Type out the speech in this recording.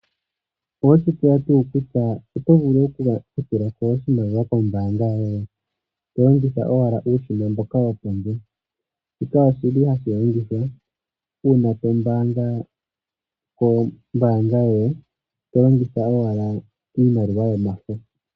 Oweshi tseya tuu kutya oto vulu oku ka tulako oshimaliwa kombanga yoye? To longitha owa uushina mboka wopondje. Shika oshili hashi longithwa una to mbaanga kombanga yoye to longitha owala iimaliwa yomafo.